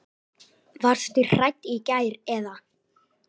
Varstu hrædd í gær eða?